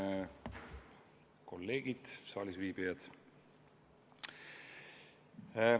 Austatud kolleegid, saalisviibijad!